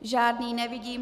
Žádný nevidím.